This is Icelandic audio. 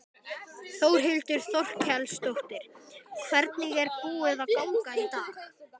Þórhildur Þorkelsdóttir: Hvernig er búið að ganga í dag?